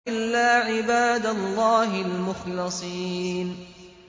إِلَّا عِبَادَ اللَّهِ الْمُخْلَصِينَ